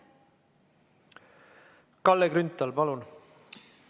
Kalle Grünthal, palun!